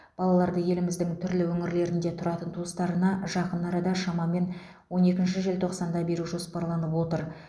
балаларды еліміздің түрлі өңірлерінде тұратын туыстарына жақын арада шамамен он екінші желтоқсанда беру жоспарланып отыр